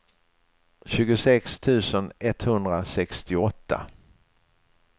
tjugosex tusen etthundrasextioåtta